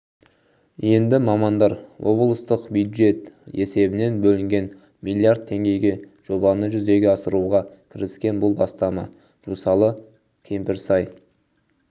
енді мамандар облыстық бюджет есебінен бөлінген млрд теңгеге жобаны жүзеге асыруға кіріскен бұл бастама жусалы кемпірсай